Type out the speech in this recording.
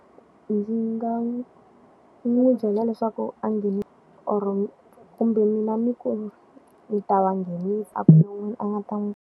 Ndzi nga n'wi n'wi byela leswaku a or-o kumbe mina ni ku ni ta va nghenisa a a nga ta n'wi.